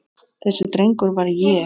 Þessi drengur var ég.